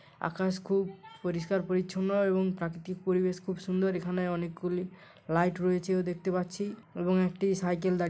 আকাশ খুব পরিষ্কার পরিচ্ছন্ন এবং প্রাকৃতিক পরিবেশ খুব সুন্দর। এখানে অনেকগুলি লাইট রয়েছে ও দেখতে পাচ্ছি এবং একটি সাইকেল দা--